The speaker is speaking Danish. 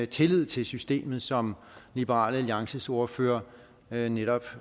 tillid til systemet som liberal alliances ordfører netop